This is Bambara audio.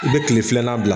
I bɛ kile filanan bila